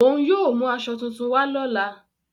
Ọ̀un yóò mú àṣọ tuntùn wà lọ́la.